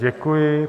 Děkuji.